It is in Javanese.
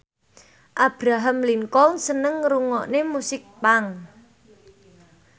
Abraham Lincoln seneng ngrungokne musik punk